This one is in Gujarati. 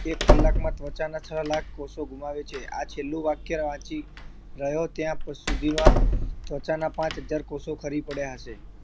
એક કલાકમાં ત્વચાના છ લાખ કોષો ગુમાવે છે આ છેલ્લું વાક્ય વાંચી રહ્યો ત્યાં સુધીમાં ત્વચાના પાંચ હજાર કોષો ખરી પડ્યા હશે